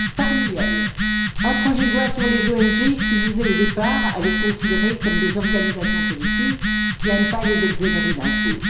Parmi eux, un projet de loi sur les ONG qui visait, au départ, à les considérer comme des organisations politiques et à ne pas les exonérer d'impôt.